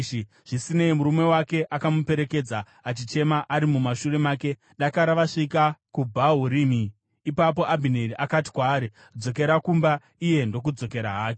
Zvisinei, murume wake akamuperekedza, achichema ari mumashure make dakara vanosvika kuBhahurimi. Ipapo Abhineri akati kwaari, “Dzokera kumba!” iye ndokudzokera hake.